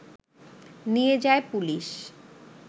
নিয়ে যায় পুলিশ